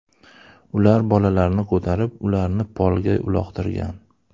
Ular bolalarni ko‘tarib, ularni polga uloqtirgan.